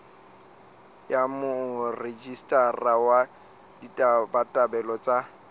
ya morejistara wa ditabatabelo tsa